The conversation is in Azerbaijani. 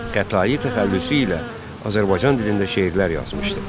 Xətai təxəllüsü ilə Azərbaycan dilində şeirlər yazmışdı.